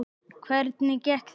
Hvernig gekk þetta?